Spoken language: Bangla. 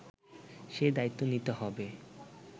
সে দায়িত্ব নিতে হবে